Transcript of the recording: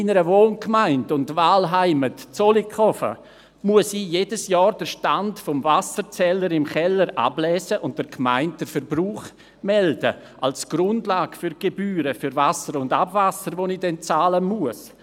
In meiner Wohngemeinde und Wahlheimat Zollikofen muss ich jedes Jahr den Stand meines Wasserzählers im Keller ablesen und der Gemeinde den Verbrauch melden – als Grundlage für die Gebühren für Wasser und Abwasser, die ich dann bezahlen muss.